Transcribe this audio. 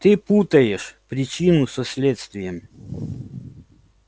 ты путаешь причину со следствием